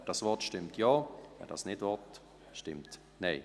Wer dies will, stimmt Ja, wer dies nicht will, stimmt Nein.